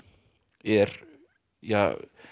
er ja